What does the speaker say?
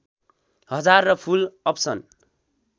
हजार र full option